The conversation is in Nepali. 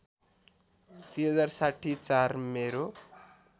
२०६० ४ मेरो